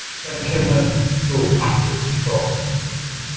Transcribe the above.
Hvenær kemur þú aftur í Þrótt?